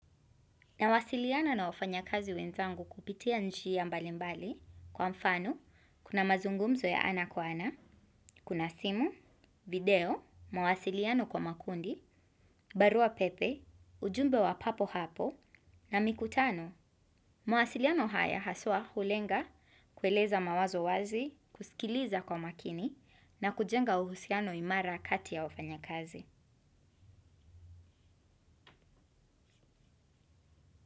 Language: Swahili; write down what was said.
Nawasiliana na wafanyikazi wenzangu kupitia njia mbalimbali, kwa mfano, kuna mazungumzo ya ana kwa ana, kuna simu, video, mawasiliano kwa makundi, barua pepe, ujumbe wa papo hapo, na mikutano. Mawasiliano haya haswa hulenga, kueleza mawazo wazi, kusikiliza kwa makini, na kujenga uhusiano imara kati ya wafanyakazi.